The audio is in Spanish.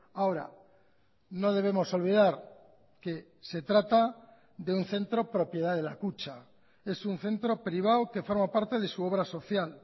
ahora no debemos olvidar que se trata de un centro propiedad de la kutxa es un centro privado que forma parte de su obra social